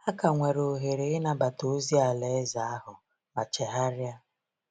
Ha ka nwere ohere ịnabata ozi Alaeze ahụ ma chegharia.